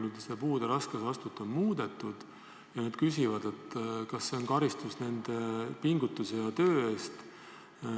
Nüüd, kui seda puude raskusastet on muudetud, küsivad nad, kas see on karistus nende pingutuse ja töö eest.